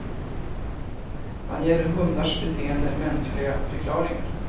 Man ger hundars beteende mänskliga förklaringar.